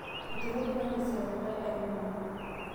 Eituraitie kanisa likai airukoni